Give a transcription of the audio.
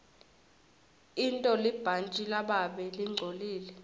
intolibhantji lababe lingcolile